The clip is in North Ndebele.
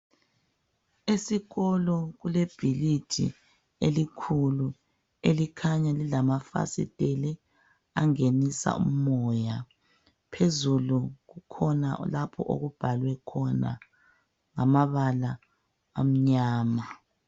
Esikolo kule bhilidi elikhulu elikhanya lilama fasiteli angenisa umoya phezulu kukhona lapho okubhalwe khona ngamabala amnyama.